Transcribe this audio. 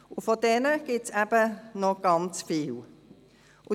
Und von diesen Menschen gibt es eben noch ganz viele.